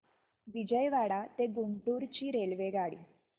विजयवाडा ते गुंटूर ची रेल्वेगाडी